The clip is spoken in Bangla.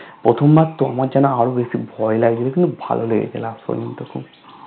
প্রথমবার তো আমার জানো আরো বেশি ভয় লাগে কিন্তু ভালো লেগেছে Last পর্যন্ত